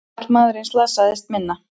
Karlmaðurinn slasaðist minna